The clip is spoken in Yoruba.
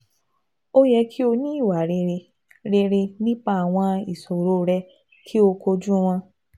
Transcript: O yẹ ki o ni iwa rere rere nipa awọn iṣoro rẹ ki o koju wọn